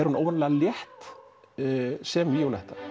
hún óvenjulega létt sem Víóletta